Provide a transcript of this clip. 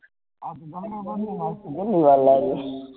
વાલા લુ